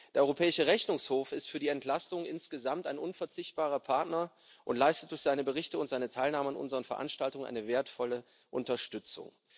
Der Europäische Rechnungshof ist für die Entlastung insgesamt ein unverzichtbarer Partner und leistet durch seine Berichte und seine Teilnahme an unseren Veranstaltungen eine wertvolle Unterstützung.